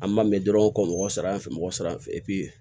An ma mɛn dɔrɔn ka mɔgɔ sara yan fɛ mɔgɔ sera